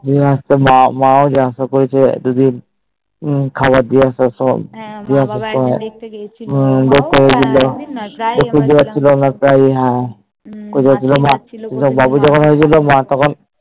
হম মা ও তো যাওয়া আসা করেছে যে মম খাবার দিয়ে আসা সব হ্ম দেখতে গিয়েছিলো শুনতে পাচ্ছিলোনা তাই হ্যাঁ ওরা দুজন আর বাবু যখুন হয়েছিল তখন